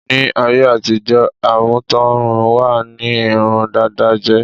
Ní áyé àtijọ́, àmútọ̀run wá ní irun dada jẹ́.